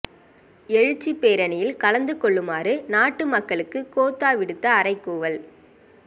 எழுச்சிப் பேரணியில் கலந்து கொள்ளுமாறு நாட்டு மக்களுக்கு கோத்தா விடுத்த அறைகூவல்